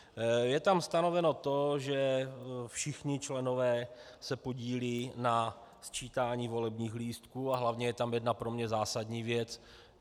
Je tam stanoveno to, že všichni členové se podílejí na sčítání volebních lístků, a hlavně je tam jedna pro mě zásadní věc.